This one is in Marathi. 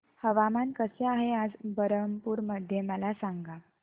हवामान कसे आहे आज बरहमपुर मध्ये मला सांगा